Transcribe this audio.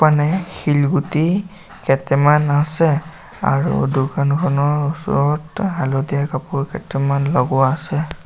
শিলগুটি কেতেমান আছে আৰু দোকানখনৰ ওচৰত হালধীয়া কাপোৰ কেইটামান লগোৱা আছে।